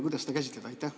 Kuidas seda käsitleda?